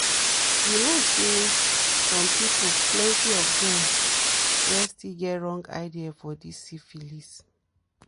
you know say some people plenty of them where still get wrong ideas for this syphilis